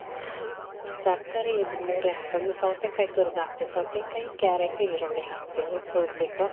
ತರ್ಕಾರಿ ಇದ್ ಮೂರೆ ಹಾಕೋದು. ಸೌತೇಕಾಯಿ ತುರುದ್ ಹಾಕ್ತೀವಿ. ಸೌತೇಕಾಯಿ, ಕ್ಯಾರಟ್, ಈರುಳ್ಳಿ ಹಾಕ್ತೀವಿ ತುರುದ್ ಬಿಟ್ಟು.